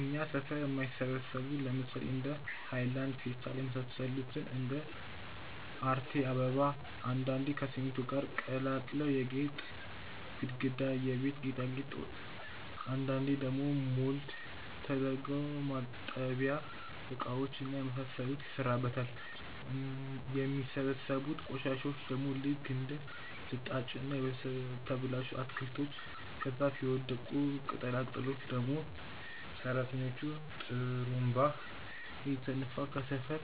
እኛ ሠፈር የማይበሰብሱ ለምሳሌ እንደ ሃይላንድ፣ ፌስታል የመሳሰሉትን እንደ አርቴ አበባ፣ አንዳንዴ ከሲሚንቶ ጋር ቀላቅለው የጌጥ ግድግዳ፣ የቤት ጌጣጌጥ፣ አንዳንዴ ደግሞ ሞልድ ተደርገው ማጠቢያ እቃዎች እና የመሳሰሉት ይሰራበታል። የሚበሰብሱትን ቆሻሻዎች ደግሞ ልክ እንደ ልጣጭና የተበላሹ አትክልቶች፣ ከዛፍ የወዳደቁ ቅጠላ ቅጠሎችን ደግሞ ሰራተኞቹ ጥሩምባ እየተነፋ ከሰፈር